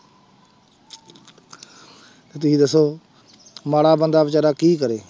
ਤੁਸੀਂ ਦੱਸੋ ਮਾੜਾ ਬੰਦਾ ਬੇਚਾਰਾ ਕੀ ਕਰੇ।